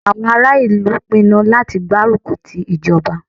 Àwọn ará ìlú pinnu láti gbárùkù ti ìjọba.